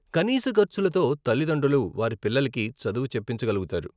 కనీస ఖర్చులతో తల్లితండ్రులు వారి పిల్లలకి చదువు చెప్పించగలుగుతారు.